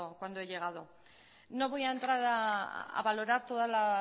cuando he llegado no voy a entrar a valorar toda la